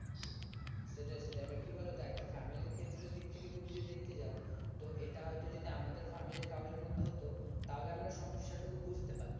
সেটাই সেটাই এবার কি বলতো একটা family ক্ষেত্রে দিক থেকে তুমি যদি দেখতে যাও তো এটা হয়তো যদি আমাদের family র কারোর মধ্যে যদি হতো তাহলে আমরা সমস্যা টুকু বুঝতে পারতাম